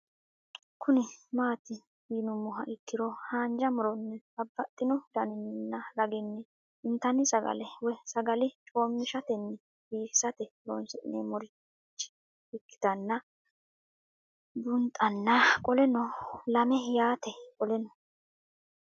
Kuni mati yinumoha ikiro hanja muroni babaxino daninina ragini intani sagale woyi sagali comishatenna bifisate horonsine'morich ikinota bunxana qoleno lame yaate qoleno